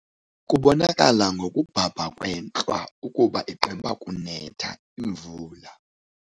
Kubonakala ngokubhabha kwentlwa ukuba igqiba kunetha imvula.